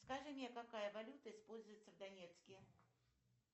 скажи мне какая валюта используется в донецке